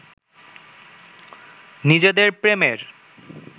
নিজেদের প্রেমের